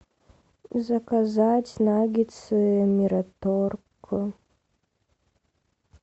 заказать наггетсы мираторг